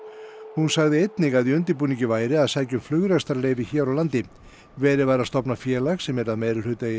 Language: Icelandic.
hún sagði einnig að í undirbúningi væri að sækja um flugrekstrarleyfi hér á landi verið væri að stofna félag sem yrði að meirihluta í